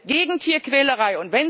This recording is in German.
Wir sind gegen Tierquälerei.